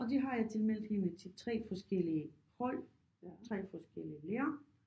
Og det har jeg tilmeldt hende til 3 forskellige hold 3 forskellige lærere